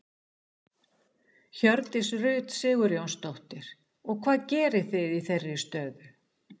Hjördís Rut Sigurjónsdóttir: Og hvað gerið þið í þeirri stöðu?